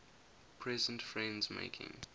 present friends making